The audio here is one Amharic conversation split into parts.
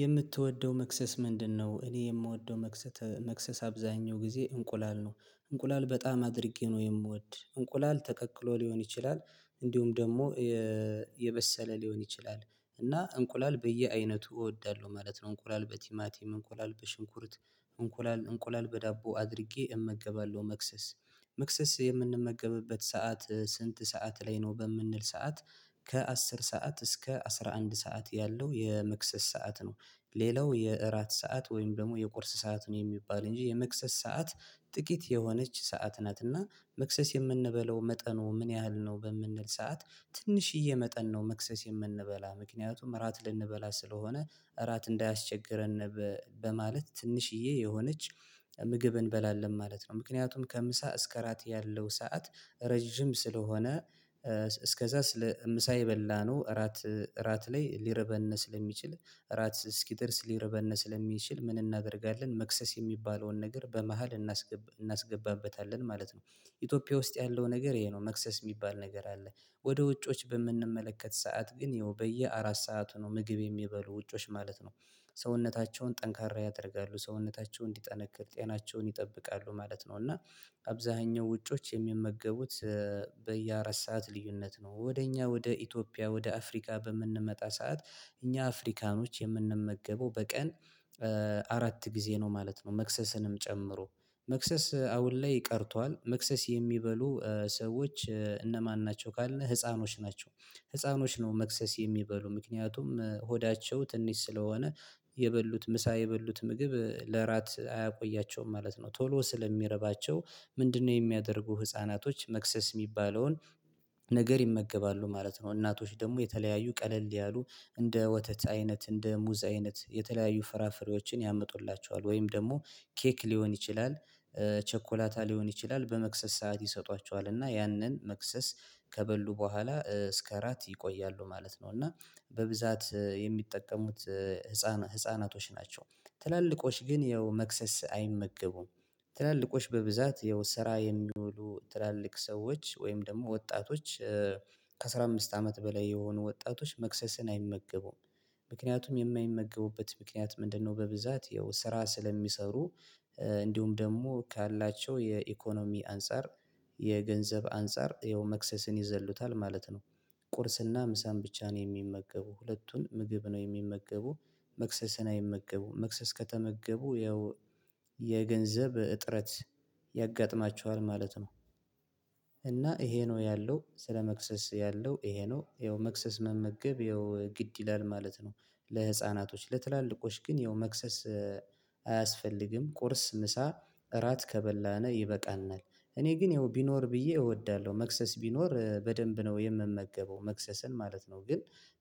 የምትወደው መክሰስ ምንድነው? እኔ የምወደው መክሰስ መክሰስ አብዛኛው ጊዜ እንቁላል ነው እንቁላል በጣም አድርጌ ነው የምወድ እንቁላል ተቀቅሎ ሊሆን ይችላል። እንዲሁም ደግሞ የበሰለ ሊሆን ይችላል እና እንቁላል በየአይነቱ እወዳለሁ ማለት ነው። እንቁላል በቲማቲም እንቁላል በሽንኩርት እንቁላል እንቁላል በዳቦ አድርጌ እመገባለሁ መክሰስ። መክሰስ የምንመገብበት ሰዓት ስንት ሰዓት ላይ ነው በምንል ሰዓት? ከአስር ሰዓት እስከ አስራ አንድ ሰዓት ያለው የመክሰስ ሰዓት ነው። ሌላው የእራት ሰዓት ወይም ደግሞ የቁርስ ሰአቱን የሚባል እንጂ የመክሰስ ሰዓት። ጥቂት የሆነች ሰዓት ናት እና መክሰስ የምንበለው መጠኑ ምን ያህል ነው? በምንል ሰዓት ትንሽዬ መጠን ነው መክሰስ የምንበላ ምክንያቱም እራት ልንበላ ስለሆነ እራት እንዳያስቸግረን በማለት ትንሽዬ የሆነች ምግብ እንበላለን ማለት ነው። ምክንያቱም ከምሳ እስከ ራት ያለው ሰዓት ረጅም ስለሆነ። እስከዛ ስለ ምሳ የበላነው እራት እራት ላይ ሊርበን ስለሚችል እራት እስኪደርስ ሊረበን ስለሚችል ምን እናደርጋለን መክሰስ የሚባለውን ነገር በመሃል እናስገባበታለን ማለት ነው። ኢትዮጵያ ውስጥ ያለው ነገር ይሄ ነው መክሰስ የሚባል ነገር አለ። ወደ ውጮች በምንመለከት ሰዓት ግን ይኸው በየአራት ሰዓቱ ነው ምግብ የሚበሉ ውጮች ማለት ነው። ሰውነታቸውን ጠንካራ ያደርጋሉ ሰውነታቸው እንዲጠነክር ጤናቸውን ይጠብቃሉ ማለት ነው። እና አብዛኛው ውጮች የሚመገቡት በየአራት ሰዓት ልዩነት ነው። ወደ እኛ ወደ ኢትዮጵያ ወደ አፍሪካ በምንመጣ ሰዓት እኛ አፍሪካኖች የምንመገበው በቀን አራት ጊዜ ነው ማለት ነው። መክሰስንም ጨምሮ መክሰስ አሁን ላይ ቀርቷል መክሰስ የሚበሉ ሰዎች እነማን ናቸው? ካልን ህፃኖች ናቸው። ህፃኖች ነው መክሰስ የሚበሉ ምክንያቱም ሆዳቸው ትንሽ ስለሆነ የበሉት ምሳ የበሉት ምግብ ለራት አያቆያቸውም ማለት ነው። ቶሎ ስለሚረባቸው ምንድነው? የሚያደርጉ ህፃናቶች መክሰስ የሚባለውን ነገር ይመገባሉ ማለት ነው። እናቶች ደግሞ የተለያዩ ቀለል ያሉ እንደ ወተት አይነት እንደ ሙዝ አይነት የተለያዩ ፍራፍሬዎችን ያምጡላቸዋል ወይም ደግሞ ኬክ ሊሆን ይችላል። ቸኮላታ ሊሆን ይችላል በመክሰስ ሰዓት ይሰጧቸዋል እና ያንን መክሰስ ከበሉ በኋላ እስከ ራት ይቆያሉ ማለት ነው። እና በብዛት የሚጠቀሙት ህፃናቶች ናቸው። ትላልቆች ግን ያው መክሰስ አይመገቡም። ትላልቆች በብዛት የው ስራ የሚውሉ ትላልቅ ሰዎች ወይም ደግሞ ወጣቶች። ከአሥራ አምስት አመት በላይ የሆኑ ወጣቶች መክሰስን አይመገቡም ምክንያቱም የማይመገቡበት ምክንያት ምንድነው? በብዛት ያው ስራ ስለሚሰሩ እንዲሁም ደግሞ ካላቸው የኢኮኖሚ አንፃር የገንዘብ አንፃር ይኸው መክሰስን ይዘሉታል ማለት ነው። ቁርስና ምሳን ብቻ ነው የሚመገቡ ሁለቱን ምግብ ነው የሚመገቡ። መክሰስን አይመገቡም መክሰስ ከተመገቡ ያው የገንዘብ እጥረት ያጋጥማቸዋል ማለት ነው። እና ይሄ ነው ያለው ስለ መክሰስ ያለው ይሄ ነው ይኸው መክሰስ መመገብ ይኸው ግድ ይላል ማለት ነው። ለህፃናቶች ለትላልቆች ግን ይኸው መክሰስ አያስፈልግም። ቁርስ ምሳ እራት ከበላነ ይበቃናል። እኔ ግን ይኸው ቢኖር ብዬ እወዳለሁ መክሰስ ቢኖር በደንብ ነው የምመገበው መክሰስን ማለት ነው። ግን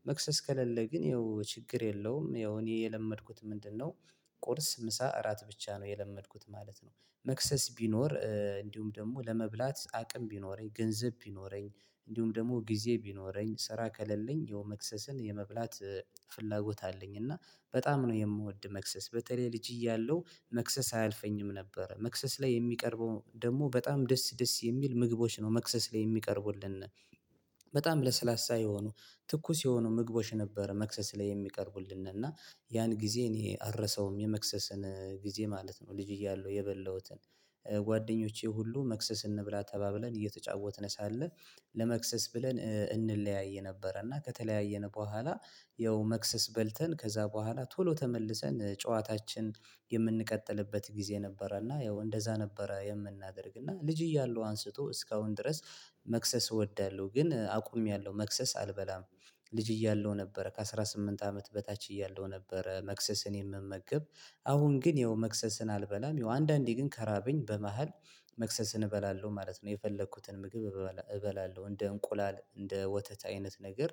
መክሰስ ከሌለ ግን ይኸው ችግር የለውም። ይኸው እኔ የለመድኩት ምንድነው? ቁርስ ምሳ እራት ብቻ ነው የለመድኩት ማለት ነው። መክሰስ ቢኖር እንዲሁም ደግሞ ለመብላት አቅም ቢኖረኝ ገንዘብ ቢኖረኝ እንዲሁም ደግሞ ጊዜ ቢኖረኝ ስራ ከሌለኝ የመክሰስን የመብላት ፍላጎት አለኝ። እና በጣም ነው የምወድ መክሰስ በተለይ ልጅ እያለሁ መክሰስ አያልፈኝም ነበረ መክሰስ ላይ የሚቀርበው ደግሞ በጣም ደስ ደስ የሚል ምግቦች ነው መክሰስ ላይ የሚቀርቡልን። በጣም ለስላሳ የሆኑ ትኩስ የሆኑ ምግቦች ነበረ መክሰስ ላይ የሚቀርቡልንን እና ያን ጊዜ እኔ አልረሳውም የመክሰስን ጊዜ ማለት ነው። ልጅ እያለሁ የበላሁትን ጓደኞቼ ሁሉ መክሰስ እንብላ ተባብለን እየተጫወትን ሳለ ለመክሰስ ብለን እንለያይ ነበረ። እና ከተለያየን በኋላ ያው መክሰስ በልተን ከዛ በኋላ ቶሎ ተመልሰን ጨዋታችን የምንቀጥልበት ጊዜ ነበረ። እና ያው እንደዛ ነበረ የምናደርግ እና ልጅ እያለሁ አንስቶ እስካሁን ድረስ። መክሰስ እወዳለሁ ግን አቁሜያለሁ መክሰስ አልበላም። ልጅ እያለሁ ነበረ ከአሥራ ስምንት አመት በታች እያለው ነበረ። መክሰስን የምመግብ አሁን ግን ያው መክሰስን አልበላም። ያው አንዳንዴ ግን ከራብኝ በመሃል መክሰስን እበላለሁ ማለት ነው። የፈለኩትን ምግብ እበላለሁ እንደ እንቁላል እንደ ወተት አይነት ነገር።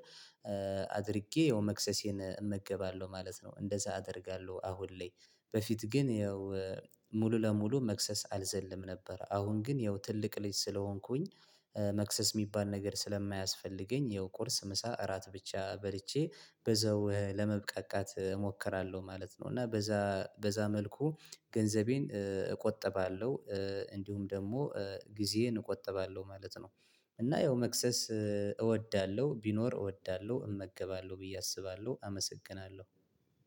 አድርጌ ያው መክሰሴን እመገባለሁ ማለት ነው። እንደዛ አደርጋለሁ አሁን ላይ በፊት ግን ያው ሙሉ ለሙሉ መክሰስ አልዘልም ነበር። አሁን ግን ያው ትልቅ ልጅ ስለሆንኩኝ። መክሰስ የሚባል ነገር ስለማያስፈልገኝ ያው ቁርስ ምሳ እራት ብቻ በልቼ በዛው ለመብቃቃት እሞክራለሁ ማለት ነው። እና በዛ በዛ መልኩ ገንዘቤን እቆጥባለሁ። እንዲሁም ደግሞ ጊዜዬን እቆጥባለሁ ማለት ነው። እና ያው መክሰስ እወዳለሁ ቢኖር እወዳለሁ እመገባለሁ ብዬ አስባለሁ አመሰግናለሁ።